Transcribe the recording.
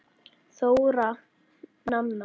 Þóra Nanna.